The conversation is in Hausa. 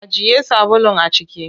Ajiye sabulun a ciki.